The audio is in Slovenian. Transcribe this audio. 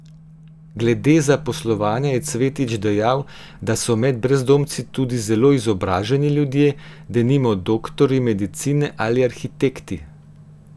Glede zaposlovanja je Cvetič dejal, da so med brezdomci tudi zelo izobraženi ljudje, denimo doktorji medicine ali arhitekti.